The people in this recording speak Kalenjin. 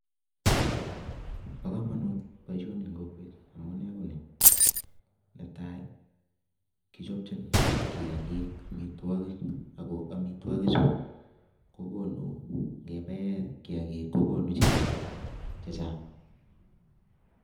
Bo komonut boisoni eng' kokwet, amunee ko nii. Netai, kichopchin kiyagiik, amitwogik, ago amitwogik chu, kogonu ng'ebae kiyagiik kogonu chego chechang'